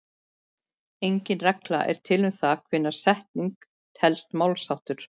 Engin regla er til um það hvenær setning telst málsháttur.